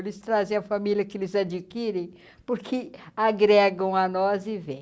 Eles trazem a família que eles adquirem, porque agregam a nós e vem.